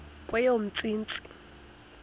kweyomntsintsi